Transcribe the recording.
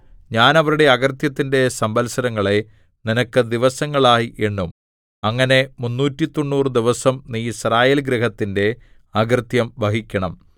ഞാൻ അവരുടെ അകൃത്യത്തിന്റെ സംവത്സരങ്ങളെ നിനക്ക് ദിവസങ്ങളായി എണ്ണും അങ്ങനെ മുന്നൂറ്റിത്തൊണ്ണൂറു ദിവസം നീ യിസ്രായേൽ ഗൃഹത്തിന്റെ അകൃത്യം വഹിക്കണം